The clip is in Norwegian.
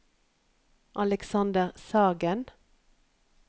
Alexander Sagen